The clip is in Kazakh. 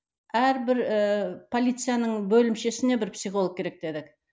әрбір ііі полицияның бөлімшесіне бір психолог керек дедік